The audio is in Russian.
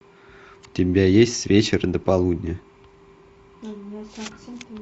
у тебя есть с вечера до полудня